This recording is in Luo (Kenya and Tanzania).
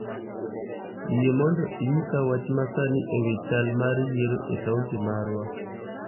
Yie mondo inyisa wach masani ewi chal mar yiero e kaunti marwa